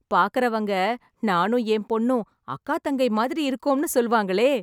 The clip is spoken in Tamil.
பார்க்கறவங்க, நானும் என் பொண்ணும், அக்கா தங்கை மாதிரி இருக்கோம்னு சொல்வாங்களே...